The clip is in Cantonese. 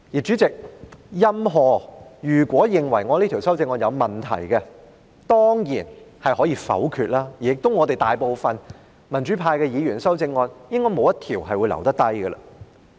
主席，任何人如果認為我這項修正案有問題，當然可以反對，而民主派議員的修正案應該會全部被否決。